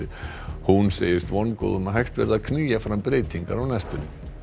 hún segist vongóð um að hægt verði að knýja fram breytingar á næstunni